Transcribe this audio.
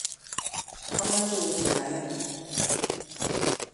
amoche ochei ayanin.